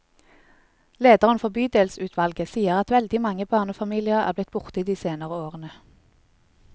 Lederen for bydelsutvalget sier at veldig mange barnefamilier er blitt borte de senere årene.